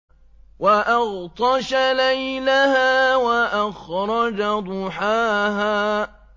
وَأَغْطَشَ لَيْلَهَا وَأَخْرَجَ ضُحَاهَا